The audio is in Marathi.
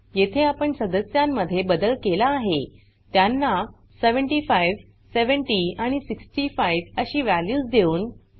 येथे आपण सदस्यांन मध्ये बदल केला आहे त्यांना 75 70 आणि 65 अशी वॅल्यूज देऊन